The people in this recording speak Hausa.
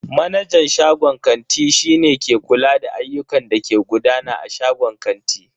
Manajan shagon kanti shi ne ke kula da ayyukan da ke gudana a shagon kanti.